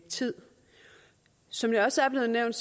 tid som det også er blevet nævnt